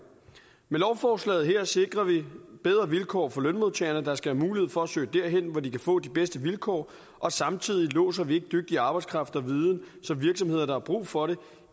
med lovforslaget her sikrer vi bedre vilkår for lønmodtagere der skal have mulighed for at søge derhen hvor de kan få de bedste vilkår og samtidig låser vi ikke dygtig arbejdskraft og viden så virksomheder der har brug for det